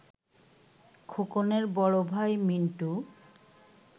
খোকনের বড় ভাই, মিন্টু